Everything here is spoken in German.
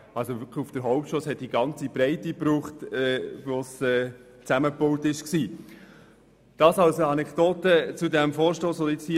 Als es zusammenbaut war, benötigte es die ganze Strassenbreite.